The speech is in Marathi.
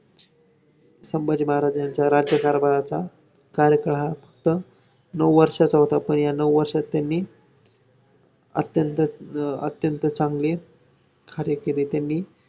बरं त्याचं काय होतील हातच दुखते मी दवाखान्यात जाते मी आज नाही येत तेच होत ना आम्हाला थोडा मजे आराम पण पाहिजे ना बायकांना शरीराला.